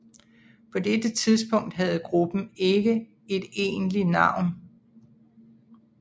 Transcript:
På dette tidspunkt havde gruppen ikke et egentligt navn